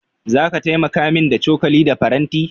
Zaka taimaka min da cokali da faranti?